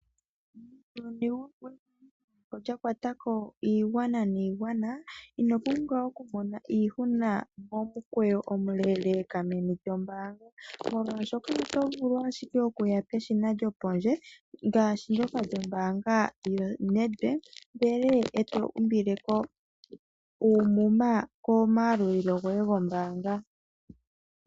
Muuyuni wehumokomeho lya kwatako iigwana niigwana, ino pumbwa okumona iihuna momukweyo omuleeleka meni lyo mbaanga, molwaashoka oto vulu ashike okuya peshina lyopondje ngaashi ndyoka lyombaanga yo Nedbank, ndele eto umbileko uumuma komayalulilo goe gombaanga.